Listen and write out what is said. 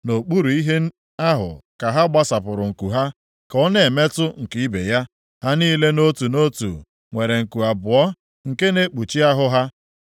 Nʼokpuru ihe ahụ ka ha gbasapụrụ nku ha, ka ọ na-emetụ nke ibe ya. Ha niile nʼotu nʼotu nwere nku abụọ nke na-ekpuchi ahụ ya.